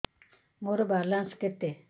ମୋର ବାଲାନ୍ସ କେତେ